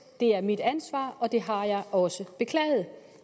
det er mit ansvar og det har jeg også beklaget